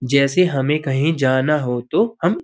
जैसे हमें कहीं जाना हो तो हम --